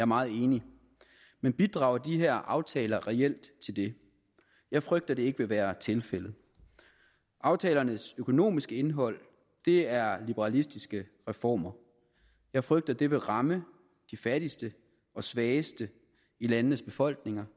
meget enig men bidrager de her aftaler reelt til det jeg frygter at det ikke vil være tilfældet aftalernes økonomiske indhold er liberalistiske reformer jeg frygter det vil ramme de fattigste og svageste i landenes befolkninger